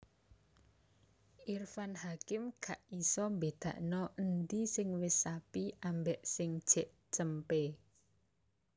Irfan Hakim gak iso mbedakno endi sing wes sapi ambek sing jek cempe